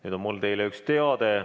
Nüüd on mul teile üks teade.